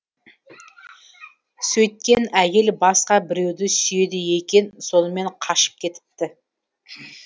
сөйткен әйел басқа біреуді сүйеді екен сонымен қашып кетіпті